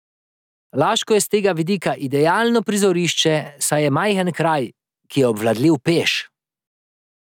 Laško je s tega vidika idelano prizorišče, saj je majhen kraj, ki je obvladljiv peš.